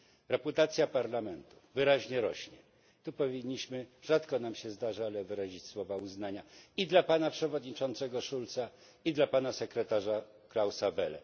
Reputacja Parlamentu wyraźnie rośnie, tu powinniśmy rzadko nam się to zdarza wyrazić słowa uznania i dla pana przewodniczącego Schulza i dla pana sekretarza Klausa Welle.